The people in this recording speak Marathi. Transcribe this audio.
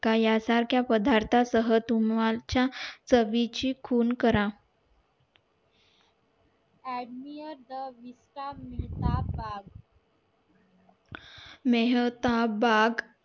या सारख्या पदार्था सह तुम्हला तुमच्या चवीची खून करा मेहता बाग